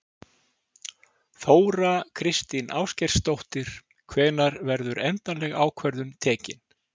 Þóra Kristín Ásgeirsdóttir: Hvenær verður endaleg ákvörðun tekin?